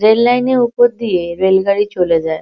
Rail line -এর উপর দিয়ে রেল গাড়ি চলে যায়।